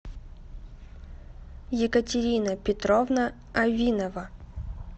екатерина петровна авинова